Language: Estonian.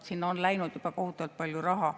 Sinna on läinud juba kohutavalt palju raha.